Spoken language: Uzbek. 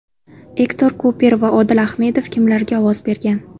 Ektor Kuper va Odil Ahmedov kimlarga ovoz bergan?.